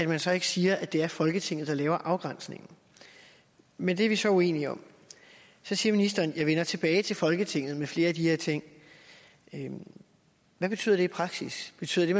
man så ikke siger at det er folketinget der laver afgrænsningen men det er vi så uenige om så siger ministeren jeg vender tilbage til folketinget med flere af de her ting hvad betyder det i praksis betyder det